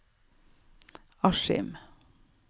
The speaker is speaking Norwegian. Askim